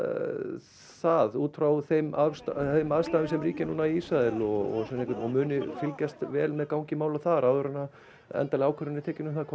það út frá þeim aðstæðum þeim aðstæðum sem ríkja núna í Ísrael og muni fylgjast vel með gangi mála þar áður en endanleg ákvörðun er tekin um